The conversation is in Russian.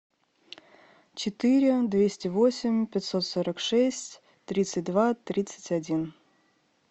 четыре двести восемь пятьсот сорок шесть тридцать два тридцать один